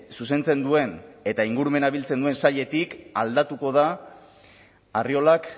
zuzentzen duen eta ingurumena biltzen duen sailetik aldatuko da arriolak